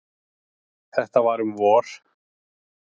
Þetta var um vor.